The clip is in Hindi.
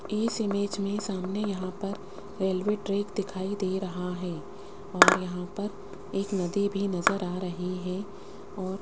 इस इमेज में सामने यहां पर रेलवे ट्रैक दिखाई दे रहा हैं और यहां पर एक नदी भी नज़र आ रही हैं और --